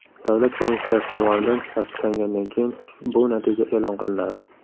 Davlat komissiyasi tomonidan tasdiqlangandan keyin bu natija e’lon qilinadi.